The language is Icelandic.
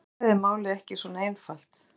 Í skammtafræði er málið ekki svona einfalt.